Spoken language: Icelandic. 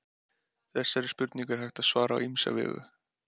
Þessari spurningu er hægt að svara á ýmsa vegu.